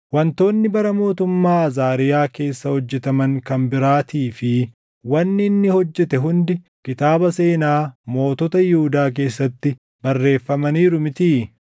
Wantoonni bara mootummaa Azaariyaa keessa hojjetaman kan biraatii fi wanni inni hojjete hundi kitaaba seenaa mootota Yihuudaa keessatti barreeffamaniiru mitii?